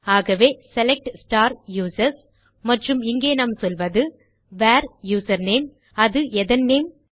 ஆகவே select users மற்றும் இங்கே நாம் சொல்வது வேர் யூசர்நேம் அது எதன் நேம்